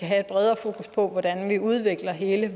have et bredere fokus på hvordan vi udvikler hele